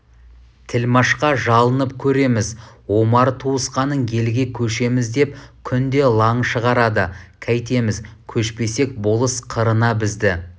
тілмашқа жалынып көрерміз омар туысқаның елге көшеміз деп күнде лаң шығарады кәйтеміз көшпесек болыс қырына бізді